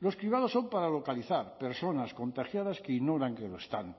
los cribados son para localizar personas contagiadas que ignoran que lo están